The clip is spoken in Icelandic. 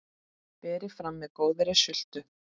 Berið fram með góðri sultu.